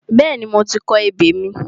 Bẹ́ẹ̀ni, mo ti kọ ebè mi.